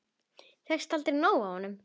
Fékkst aldrei nóg af honum.